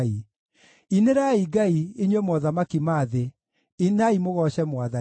Inĩrai Ngai, inyuĩ mothamaki ma thĩ, inai mũgooce Mwathani,